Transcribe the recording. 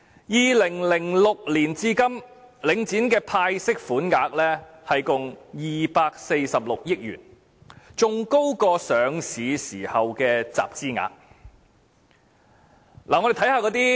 2006年至今，領展的派息款額共246億元，較上市時的集資額還要高。